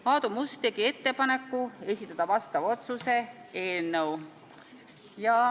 Aadu Must tegi ettepaneku esitada vastav otsuse eelnõu.